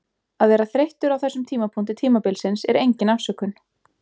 Að vera þreyttur á þessum tímapunkti tímabilsins er engin afsökun.